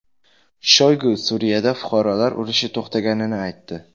Shoygu Suriyada fuqarolar urushi to‘xtaganini aytdi.